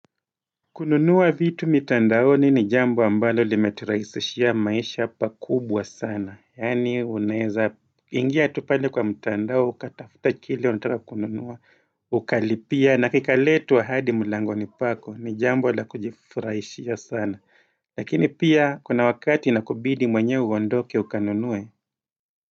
Kununua vitu mitandaoni ni jambo ambalo limeturahisishia maisha pa kubwa sana, yaani unaeza ingia tu pale kwa mtandao ukatafuta kile unataka kununua ukalipia na kika letwa hadi mlangoni pako ni jambo la kujifurahishia sana, lakini pia kuna wakati inakubidi mwenyewe uondoke ukanunue.